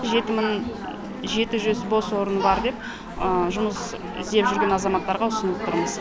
жеті мың жеті жүз бос орны бар деп жұмыс іздеп жүрген азаматтарға ұсынып тұрмыз